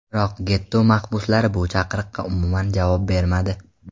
Biroq getto mahbuslari bu chaqiriqqa umuman javob bermadi.